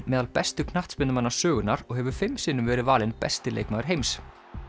meðal bestu knattspyrnumanna sögunnar og hefur fimm sinnum verið valinn besti leikmaður heims